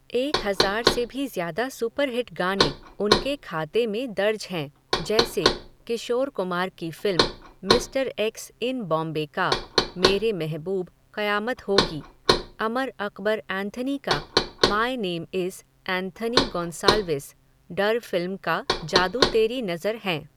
एक हज़ार से भी ज़्यादा सुपरहिट गाने, उनके खाते में दर्ज हैं, जैसे, किशोर कुमार की फ़िल्म, मिस्टर एक्स इन बॉम्बे का, मेरे महबूब क़यामत होगी, अमर अक़बर एंथोनी का, my name is Anthony Gonsalves, Darr फ़िल्म का जादू तेरी नज़र हैं.